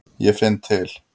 Ég finn til.